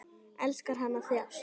Elskar hann að þjást?